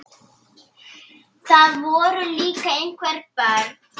Það voru líka einhver börn.